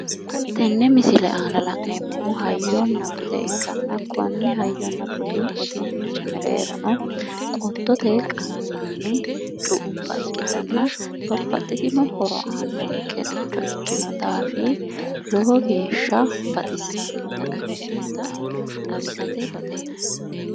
Tenne misile aana la'neemmohu hayyonna bude ikkanna konne hayyonna budu uduunnichi mereerono qottote qansanni cu"ubba ikkitanna babbaxxitino horo aannonkericho ikkino daafii lowo geeshsha baxissannota ikkitinota xawisate baxeemma.